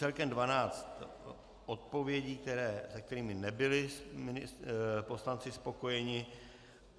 Celkem dvanáct odpovědí, s kterými nebyli poslanci spokojeni.